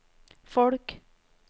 folk